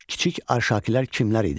Kiçik Arşakilər kimlər idi?